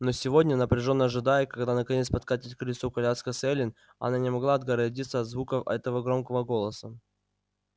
но сегодня напряжённо ожидая когда наконец подкатит к крыльцу коляска с эллин она не могла отгородиться от звуков этого громкого голоса